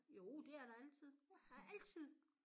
Jo det er der altid der er altid